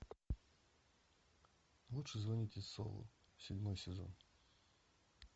лучше звоните солу седьмой сезон